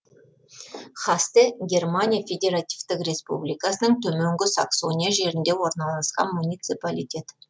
хасте германия федеративтік республикасының төменгі саксония жерінде орналасқан муниципалитет